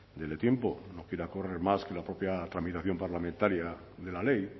dele tiempo no quiera correr más que la propia tramitación parlamentaria de la ley